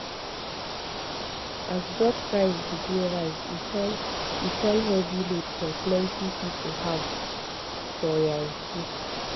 as drug price begin rise e turn e turn heavy load for plenty people house for yankee